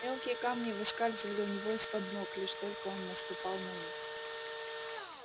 мелкие камни выскальзывали у него из-под ног лишь только он наступал на них